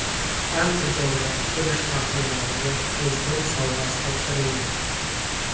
Andijonda urush faxriylariga Prezident sovg‘asi topshirilmoqda.